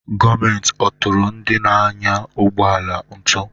Gọọmenti ọ̀ tụrụ ndị na-anya ụgbọ ala ụtụ?